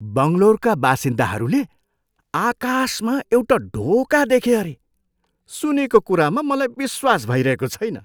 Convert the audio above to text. बङ्गलोरका बासिन्दाहरूले आकाशमा एउटा ढोका देखे अरे! सुनेको कुरामा मलाई विश्वास भइरहेको छैन!